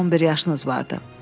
Onda sizin 11 yaşınız vardı.